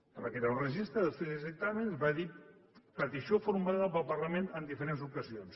hem de crear un registre d’estudis i dictàmens va dir petició formulada pel parlament en diferents ocasions